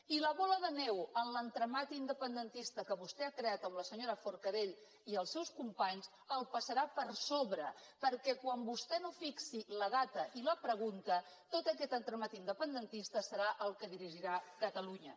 i la bola de neu en l’entramat independentista que vostè ha creat amb la senyora forcadell i els seus companys els passarà per sobre perquè quan vostè no fixi la data i la pregunta tot aquest entramat independentista serà el que dirigirà catalunya